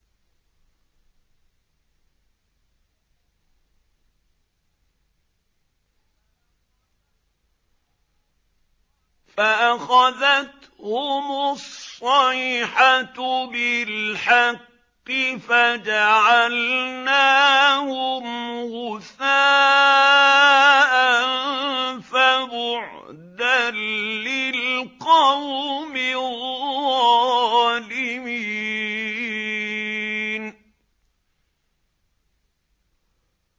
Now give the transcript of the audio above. فَأَخَذَتْهُمُ الصَّيْحَةُ بِالْحَقِّ فَجَعَلْنَاهُمْ غُثَاءً ۚ فَبُعْدًا لِّلْقَوْمِ الظَّالِمِينَ